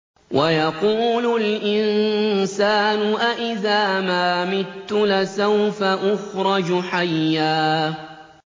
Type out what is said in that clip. وَيَقُولُ الْإِنسَانُ أَإِذَا مَا مِتُّ لَسَوْفَ أُخْرَجُ حَيًّا